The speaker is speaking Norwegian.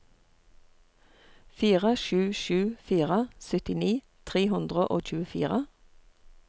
fire sju sju fire syttini tre hundre og tjuefire